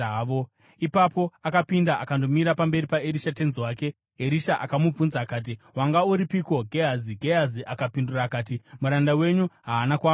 Ipapo akapinda akandomira pamberi paErisha tenzi wake. Erisha akamubvunza akati, “Wanga uripiko Gehazi?” Gehazi akapindura akati, “Muranda wenyu haana kwaamboenda.”